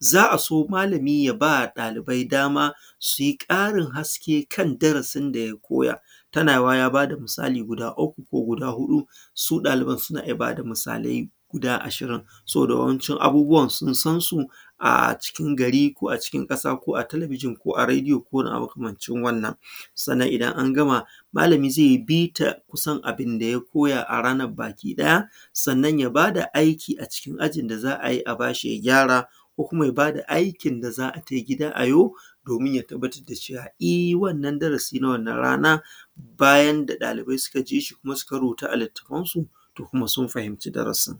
za a so malami ya ba ɗalibai dama su yi ƙarin haske kan darasin da ya koya, tanawa ya ba da misali guda uku ko guda huɗu su ɗaliban suna iya ba da misalai guda ashirin saboda wancan abubuwan sun san su a cikin gari ko a cikin ƙasa ko a talabijin ko a rediyo ko a wani abu makamancin wannan. Sannan idan an gama malami ze yi bita kusan abin da ya koya a ranan bakiɗaya, sannan ya ba da aiki a cikin ajin da za a yi a ba shi ya gyara ko kuma ya ba da a aiki da za ta fi gida a yi domin ya tabbatar da cewa e wannan darasi na rana a baya da suka jishi kuma suka rubuta a littafansu to kuma sun fahinci darasin,